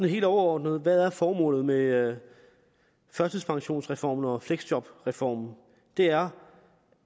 helt overordnet hvad er formålet med førtidspensionsreformen og fleksjobreformen det er